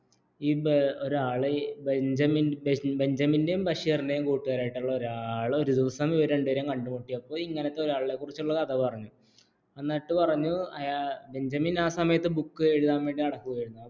ബെഞ്ചമിന്റെയും ബഷീറിന്റെയും കൂട്ടുകാരൻ ആയിട്ടുള്ള ഒരാള് ഒരു ദിവസം ഇവരെ രണ്ടുപേരും കണ്ടുമുട്ടിയപ്പോൾ ഇങ്ങനത്തെ ഒരാളെ കുറിച്ചുള്ള കഥ പറഞ്ഞു എന്നിട്ട് പറഞ്ഞു ബെഞ്ചമിൻ ആ സമയത്ത് ബുക്ക് എഴുതാൻ വേണ്ടി നടക്കുകയായിരുന്നു